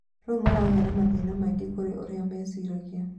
Rĩu maragĩa na mathĩna maingĩ kũrĩ ũria meciragia